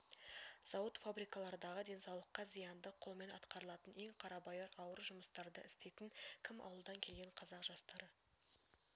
зауыт-фабрикалардағы денсаулыққа зиянды қолмен атқарылатын ең қарабайыр ауыр жұмыстарды істейтін кім ауылдан келген қазақ жастары